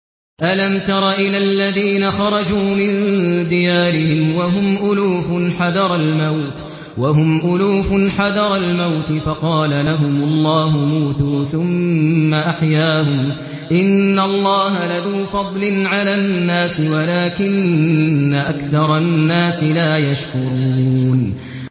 ۞ أَلَمْ تَرَ إِلَى الَّذِينَ خَرَجُوا مِن دِيَارِهِمْ وَهُمْ أُلُوفٌ حَذَرَ الْمَوْتِ فَقَالَ لَهُمُ اللَّهُ مُوتُوا ثُمَّ أَحْيَاهُمْ ۚ إِنَّ اللَّهَ لَذُو فَضْلٍ عَلَى النَّاسِ وَلَٰكِنَّ أَكْثَرَ النَّاسِ لَا يَشْكُرُونَ